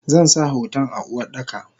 Zansa hoton a Uwardaka.